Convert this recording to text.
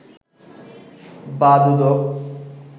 বা দুদক